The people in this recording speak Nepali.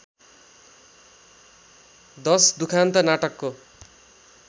१० दुखान्त नाटकको